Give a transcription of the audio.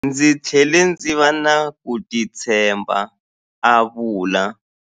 Ndzi tlhele ndzi va na ku titshemba, a vula.